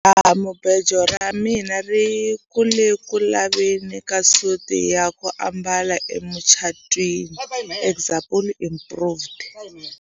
Jahamubejo ra mina ri ku le ku laveni ka suti ya ku ambala emucatwini example improved.